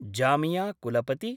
जामियाकुलपति